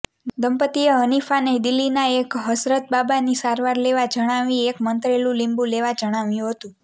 દંપતીએ હનીફાને દિલ્હીના એક હઝરતબાબાની સારવાર લેવા જણાવી એક મંત્રેલું લીંબુ લેવા જણાવ્યું હતું